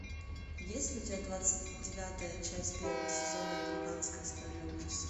есть ли у тебя двадцать девятая часть первого сезона американская история ужасов